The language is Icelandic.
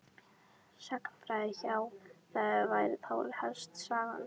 Sagnfræði já það væri þá helst Sagan.